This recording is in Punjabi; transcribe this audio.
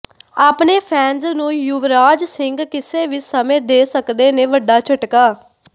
ਆਪਣੇ ਫੈਨਜ਼ ਨੂੰ ਯੁਵਰਾਜ ਸਿੰਘ ਕਿਸੇ ਵੀ ਸਮੇਂ ਦੇ ਸਕਦੇ ਨੇ ਵੱਡਾ ਝਟਕਾ